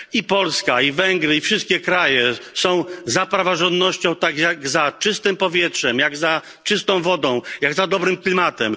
Polska i Węgry, i wszystkie kraje są za praworządnością tak jak za czystym powietrzem, jak za czystą wodą, jak za dobrym klimatem.